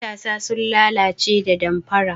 Matasa sun lalace da damfara.